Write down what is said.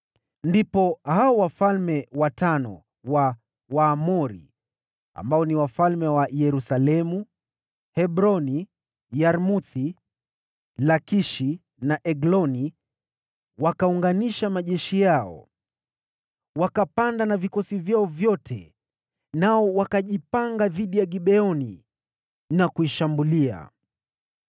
Ndipo hao wafalme watano wa Waamori, ambao ni wafalme wa Yerusalemu, Hebroni, Yarmuthi, Lakishi na Egloni, wakaunganisha majeshi yao. Wakapanda na vikosi vyao vyote, nao wakajipanga dhidi ya Gibeoni na kuishambulia.